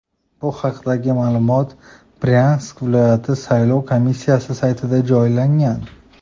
Bu haqdagi ma’lumot Bryansk viloyati saylov komissiyasi saytiga joylangan .